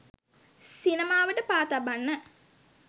සිනමාවට පා තබන්න